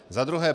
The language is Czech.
Za druhé.